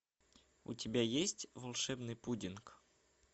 у тебя есть волшебный пудинг